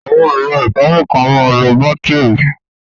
Awọn ẹ̀rọ̀ ifárí kan à màá ń lọ bátirí.